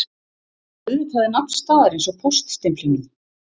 Auðvitað er nafn staðarins á póststimplinum